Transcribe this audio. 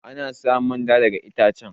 Ana samun manja daga ittacen.